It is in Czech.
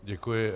Děkuji.